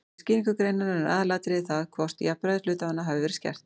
Við skýringu greinarinnar er aðalatriðið það hvort jafnræði hluthafanna hafi verið skert.